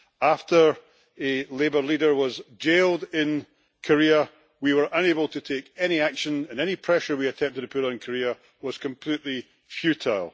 After a labour leader was jailed in Korea, we were unable to take any action, and any pressure we attempted to put on Korea was completely futile.